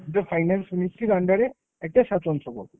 যা finance ministry র under এ একটা স্বাতন্ত্র ।